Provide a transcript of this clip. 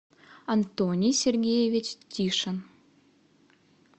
антоний сергеевич тишин